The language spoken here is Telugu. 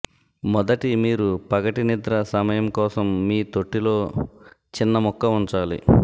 మొదటి మీరు పగటి నిద్ర సమయం కోసం మీ తొట్టి లో చిన్న ముక్క ఉంచాలి